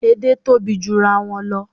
Èdè tóbi jurawọn lọ